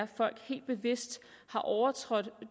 folk helt bevidst har overtrådt